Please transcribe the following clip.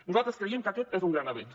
nosaltres creiem que és un gran avenç